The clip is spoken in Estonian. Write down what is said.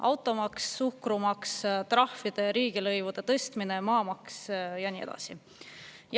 Automaks, suhkrumaks, trahvide ja riigilõivude tõstmine, maamaks ja nii edasi.